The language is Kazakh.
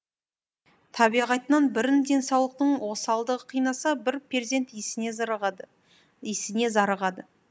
табиғатынан бірін денсаулықтың осалдығы қинаса бірі перзент исіне зарығады